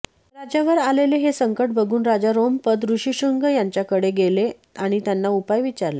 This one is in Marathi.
राज्यांवर आलेले हे संकट बघून राजा रोमपद ऋषिशृंग यांच्याकडे गेले आणि त्यांना उपाय विचारले